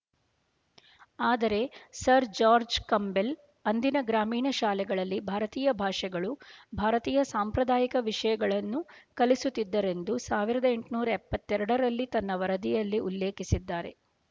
ಆದರೆ sir George Campbell ಅಂದಿನ ಗ್ರಾಮೀಣ ಶಾಲೆಗಳಲ್ಲಿ ಭಾರತೀಯ ಭಾಷೆಗಳು ಭಾರತೀಯ ಸಾಂಪ್ರದಾಯಿಕ ವಿಷ ಯಗಳನ್ನು ಕಲಿಸುತ್ತಿದ್ದರೆಂದು ಸಾವಿರದ ಎಂಟನೂರ್ ಎಪ್ಪತ್ತೆರಡರಲ್ಲಿ ತನ್ನ ವರದಿಯಲ್ಲಿ ಉಲ್ಲೇಖಿಸಿದ್ದಾರೆ